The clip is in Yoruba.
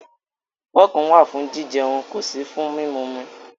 Fọ́ọ̀kì wà fún jijẹun, kò sí fún mímumi.